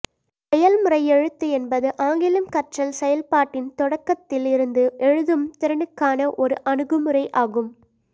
செயல்முறை எழுத்து என்பது ஆங்கிலம் கற்றல் செயல்பாட்டின் தொடக்கத்தில் இருந்து எழுதும் திறனுக்கான ஒரு அணுகுமுறை ஆகும்